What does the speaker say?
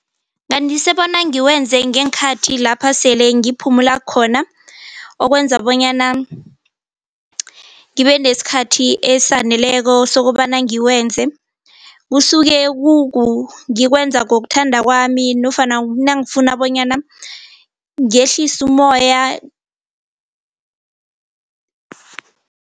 Bandisa bona ngiwenze ngeenkhathi lapha sele ngiphumula khona okwenza bonyana ngibe nesikhathi esaneleko sokobana ngiwenze, kusuke ngikwenza ngokuthanda kwami nofana nangifuna bonyana ngehlise ummoya.